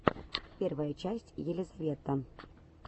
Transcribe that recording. первая часть элизавет